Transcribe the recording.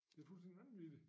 Det fuldstændig vanvittigt